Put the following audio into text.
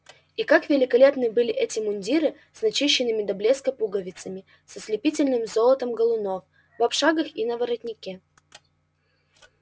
и как великолепны были эти мундиры с начищенными до блеска пуговицами с ослепительным золотом галунов на обшлагах и на воротнике